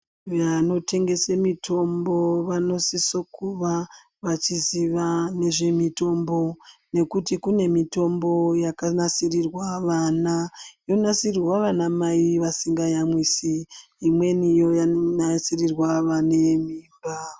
Vanotengese mitombo vanosiso kuva vachiziva mitombo nekuti kune mitombo yakanasirirwa vana yonasiirwa vana mai vasingayamwisi imweni yonasirirwa vane mimba.